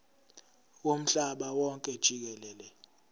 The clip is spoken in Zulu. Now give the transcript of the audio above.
womhlaba wonke jikelele